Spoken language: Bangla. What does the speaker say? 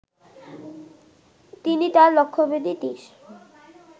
তিনি তাঁর লক্ষ্যভেদী তির